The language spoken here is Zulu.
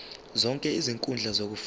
zonke izinkundla zokufunda